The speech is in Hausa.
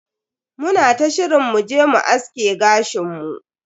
Muna ta shirin mu je mu aske gashin mu.